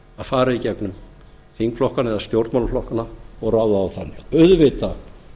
að fara í gegnum þingflokkana eða stjórnmálaflokkana og ráða þá þannig auðvitað